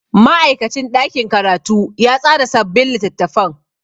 Ma'aikacin ɗakin karatu ya tsara sabbin littattafan.